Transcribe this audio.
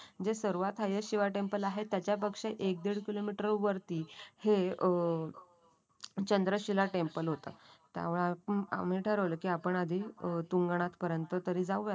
जे सर्वात highest Shiva temple आहे त्याच्यापेक्षा एक-दीड किलोमीटर वरती हे अं चंद्रशिला टेम्पल होतं. त्यावेळी आम्ही ठरवलं की आपण आधी तुंगनात पर्यंत तरी जाऊया